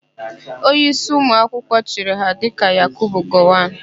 Onyeísí ụmụakwụkwọ chịrị ha dịka Yakubu Gowọn.